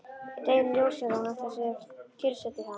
Deginum ljósara að hún ætlar sér að kyrrsetja hann!